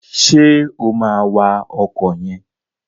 Ṣé o máa wa ọkọ̀ yẹn?